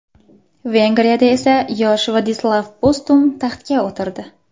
Vengriyada esa yosh Ladislav Postum taxtga o‘tirdi.